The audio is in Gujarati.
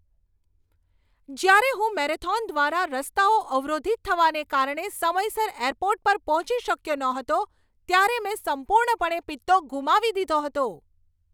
જ્યારે હું મેરેથોન દ્વારા રસ્તાઓ અવરોધિત થવાને કારણે સમયસર એરપોર્ટ પર પહોંચી શક્યો ન હતો ત્યારે મેં સંપૂર્ણપણે પિત્તો ગુમાવી દીધો હતો.